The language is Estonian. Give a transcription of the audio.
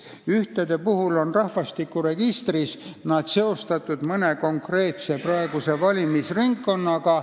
Ühed on rahvastikuregistris seostatud mõne praeguse konkreetse valimisringkonnaga.